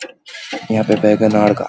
यहाँ पे वेगनार गा --